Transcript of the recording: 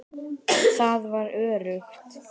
Það var öruggt.